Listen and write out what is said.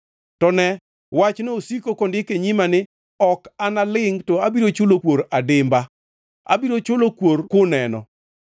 “To ne, wachno osiko kondiki e nyima ni: Ok analingʼ to abiro chulo kuor adimba; abiro chulo kuor kuneno,